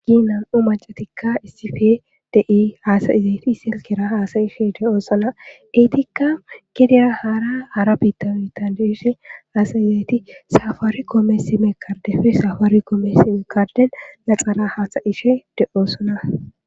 Namu'umacatikka issife dei haasayizayti silkira haasa ishe de7oo sona iitikka gidera hara hara bitabitandeshe haasayizayti safaari koome si mekardef safaari koomesi mekarden laxara haasa ishe de7oosona